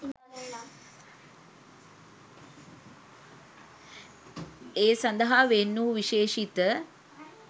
ඒ සඳහා වෙන් වූ විශේෂිත